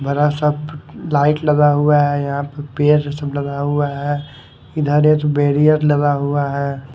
बड़ा सा लाइट लगा हुआ है यहां पे पेड़ सब लग हुआ है इधर एक बैरियर लगा हुआ है।